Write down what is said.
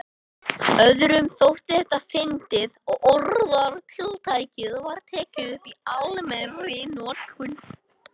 Öðrum þótti þetta fyndið og orðatiltækið var tekið upp í almennri notkun.